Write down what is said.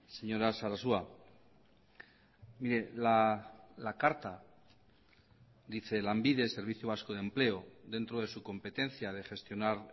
señora sarasua mire la carta dice lanbide servicio vasco de empleo dentro de su competencia de gestionar